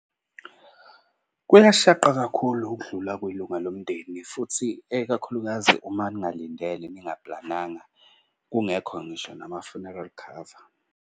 Kuyashaqa kakhulu ukudlula kwelunga lomndeni futhi ekakhulukazi uma ningalindele, ningaplananga. Kungekho ngisho nama-funeral cover.